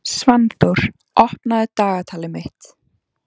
Svanþór, opnaðu dagatalið mitt.